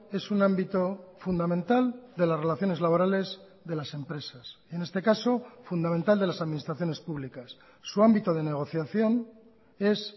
es un ámbito fundamental de las relaciones laborales de las empresas en este caso fundamental de las administraciones públicas su ámbito de negociación es